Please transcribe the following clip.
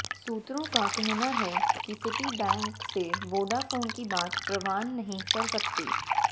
सूत्रों का कहना है कि सिटी बैंक से वोडाफोन की बात परवान नहीं चढ़ सकी